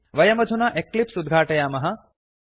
वयमधुना एक्लिप्स् उद्घाटयामः